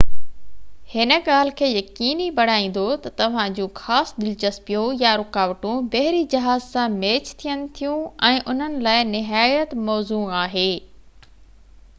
هن ڳالهہ کي يقيني بڻائيدو تہ توهان جون خاص دلچسپيون/يا رڪاوٽون بحري جهاز سان ميچ ٿين ٿيون ۽ انهن لاءِ نهايت موزون آهي